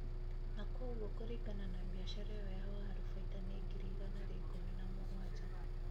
na kwaũguo kũringana na mbiacara iyo ya waru bainda nĩ ngiri igana ria ikumi na mũgwanja